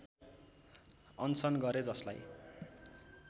अनसन गरे जसलाई